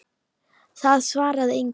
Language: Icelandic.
Það svarar enginn